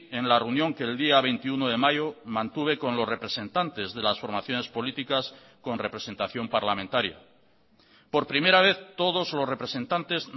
en la reunión que el día veintiuno de mayo mantuve con los representantes de las formaciones políticas con representación parlamentaria por primera vez todos los representantes